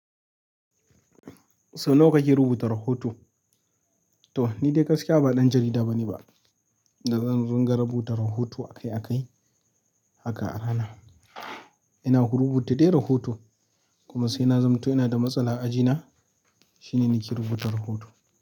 So nawa kake rubuta rahoto? To ni dai gaskiya ba ɗan jarida bane ba, da zan ɗinga rubuta rahoto akai-akai haka a rana. Ina hu rubuta dai rahoto kuma sai na zamto ina da matsala a ajina, shine nake rubuta rahoto.